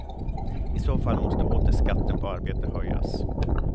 I så fall måste åter skatten på arbete höjas.